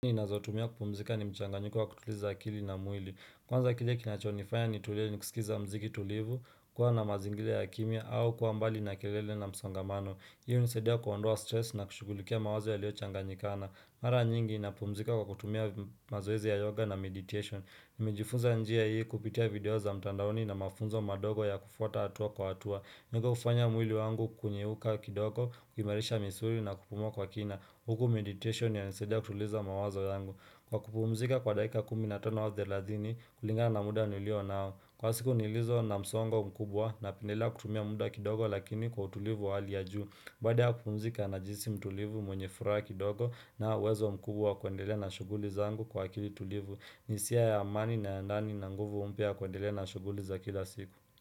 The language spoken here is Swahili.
Inazotumia kupumzika ni mchanganyiko wa kutuliza akili na mwili Kwanza kile kinachonifanya nitulie ni kusikiza mziki tulivu, kuwa na mazingile ya kimya au kuwa mbali na kilele na msongamano. Hii unisaidia kuondoa stress na kushugulikia mawazo yalio changanyikana. Mara nyingi napumzika kwa kutumia mazoezi ya yoga na meditation. Nimejifunza njia hii kupitia video za mtandaoni na mafunzo madogo ya kufuata hatua kwa hatua. Niko kufanya mwili wangu kunyeuka kidogo, kuimarisha misuri na kupumua kwa kina. Huku meditation inanisaidia kutuliza mawazo yangu kwa kupumzika kwa daika kumi na tano au thelathini kulingana na muda nilio nao. Kwa siku nilizo na msongo mkubwa napendelea kutumia muda kidogo lakini kwa utulivu wa hali ya juu. Baada ya kupumzika najihisi mtulivu mwenye furaha kidogo na uwezo mkubwa wa kuendelea na shuguli zangu kwa akili tulivu ni hisia ya amani na ya ndani na nguvu mpya ya kuendelea na shuguli za kila siku.